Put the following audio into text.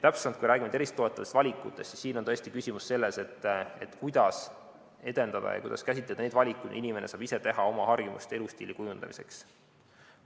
Kui me räägime tervist toetavatest valikutest, siis siin on küsimus selles, kuidas edendada ja käsitada neid valikuid, mida inimene saab ise teha oma harjumuste ja elustiili kujundamiseks.